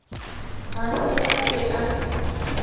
ga se a ke a